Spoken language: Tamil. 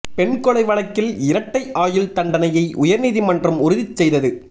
பெண் கொலை வழக்கில் இரட்டை ஆயுள் தண்டனையை உயா்நீதிமன்றம் உறுதி செய்தது